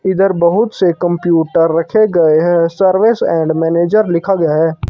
इधर बहुत से कंप्यूटर रखे गए हैं। सर्विस एंड मैनेजर लिखा गया है।